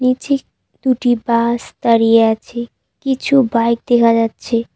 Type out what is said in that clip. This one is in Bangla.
নীচে দুটি বাস দাঁড়িয়ে আছে কিছু বাইক দেখা যাচ্ছে।